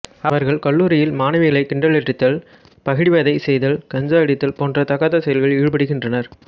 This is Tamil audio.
அவர்கள் கல்லூரியில் மாணவிகளை கிண்டலடித்தல் பகிடிவதை செய்தல் கஞ்சா அடித்தல் போன்ற தகாத செயல்களில் ஈடுபடுகின்றர்